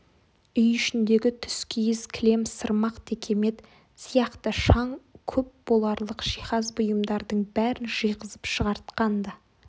үй ішіндегі түскиіз кілем сырмақ текемет сияқты шаң көп боларлық жиһаз бұйымдардың бәрін жиғызып шығартқан-ды